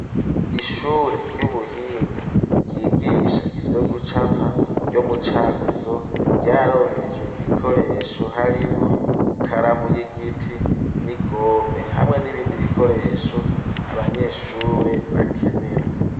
Ishure ry'ubuhinga ryigisha ivyo gucapa ryo mu Cankuzo ryaronkejwe ibikoresho harimwo ikaramu y'igiti nigome hamwe n'ibindi bikoresho abanyeshure bakenera.